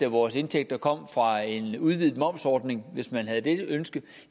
af vores indtægter kom fra en udvidet momsordning hvis man havde det ønske